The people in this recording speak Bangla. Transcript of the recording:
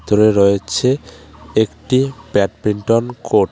ভিতরে রয়েছে একটি ব্যাডমিন্টন কোর্ট .